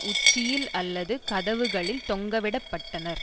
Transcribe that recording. உச்சியில் அல்லது கதவுகளில் தொங்கவிடப்பட்டனர்